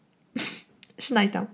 шын айтамын